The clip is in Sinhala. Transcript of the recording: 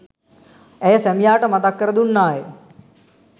ඇය සැමියාට මතක් කර දුන්නාය.